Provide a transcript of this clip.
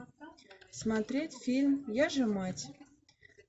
смотреть фильм я же мать